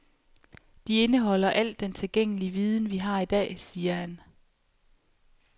De indeholder al den tilgængelige viden, vi har i dag, siger han.